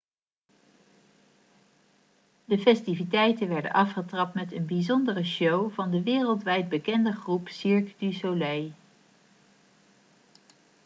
de festiviteiten werden afgetrapt met een bijzondere show van de wereldwijd bekende groep cirque du soleil